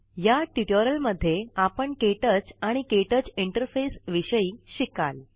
या ट्युटोरियल मध्ये आपण के टच आणि के टच इंटरफेस विषयी शिकाल